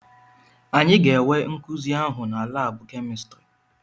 Anyị ga-enwe nkuzi ahụ na laabụ kemịstrị.